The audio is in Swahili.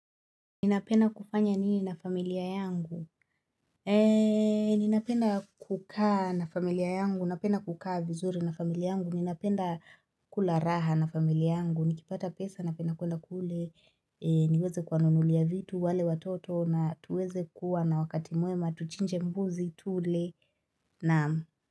Ninapenda kufanya nini na familia yangu? Eee, ninapenda kukaa na familia yangu, napenda kukaa vizuri na familia yangu, ninapenda kula raha na familia yangu, nikipata pesa, napenda kuenda kule, niweze kuwanunulia vitu, wale watoto, na tuweze kuwa na wakati mwema, tuchinje mbuzi, tule, naam.